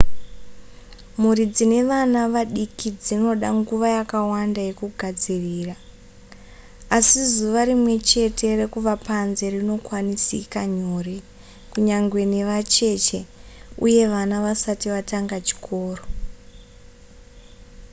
mhuri dzine vana vadiki dzinoda nguva yakawanda yekugadzirira asi zuva rimwechete rekuva panze rinokwanisika nyore kunyangwe nevacheche uye vana vasati vatanga chikoro